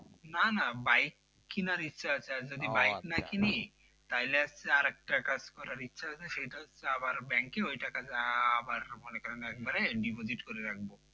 নানা বাইক কেনার ইচ্ছা আছে আর যদি বাইক না নেই তাহলে হচ্ছে আর একটা কাজ করার ইচ্ছা আছে সেটা হচ্ছে আবার ব্যাংকে ওই টাকাটা আবার মনে করেনএকেবারে diposite করে রাখবো।